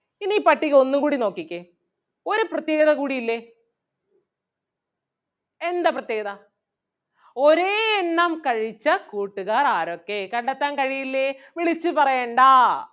ഇനി ഈ പട്ടിക ഒന്നുകൂടി നോക്കിക്കേ ഒരു പ്രത്യേകത കൂടി ഇല്ലേ എന്താ പ്രത്യേകത ഒരേ എണ്ണം കഴിച്ച കൂട്ടുകാർ ആരൊക്കെ കണ്ടെത്താൻ കഴിയില്ലേ വിളിച്ചു പറയണ്ടാ.